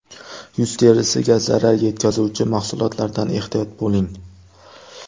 Yuz terisiga zarar yetkazuvchi mahsulotlardan ehtiyot bo‘ling.